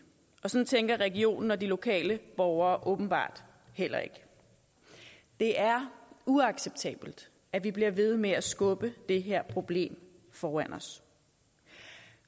og sådan tænker regionen og de lokale borgere åbenbart heller ikke det er uacceptabelt at vi bliver ved med at skubbe det her problem foran os